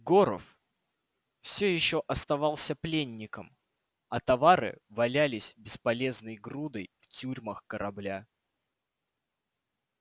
горов всё ещё оставался пленником а товары валялись бесполезной грудой в тюрьмах корабля